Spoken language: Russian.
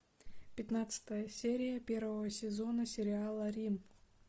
пятнадцатая серия первого сезона сериала рим